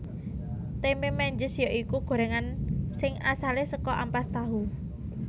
Tempe Menjes ya iku gorengan sing asale saka ampas tahu